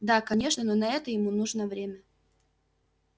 да конечно но на это ему нужно время